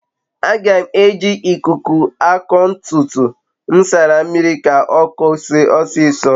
aga m a eji ikuku ako ntutu m nsara mmiri ka okoo osiso